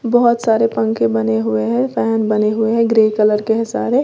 बहुत सारे पंखे बने हुए हैं फैन बने हुए हैं ग्रे कलर के हैं सारे।